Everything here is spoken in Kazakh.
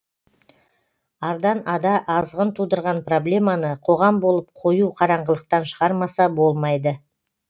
ардан ада азғын тудырған проблеманы қоғам болып қою қараңғылықтан шығармаса болмайды